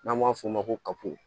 N'an b'a f'o ma ko kapp